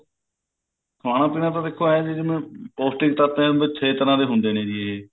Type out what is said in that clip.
ਖਾਣਾ ਪੀਣਾ ਤਾਂ ਦੇਖੋ ਐਂ ਐਂ ਜਿਵੇਂ ਪੋਸਟਿਕ ਤੱਤ ਐਵੇ ਛੇ ਤਰ੍ਹਾਂ ਦੇ ਹੁੰਦੇ ਐ ਜੀ